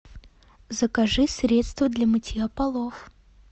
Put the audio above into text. закажи средство для мытья полов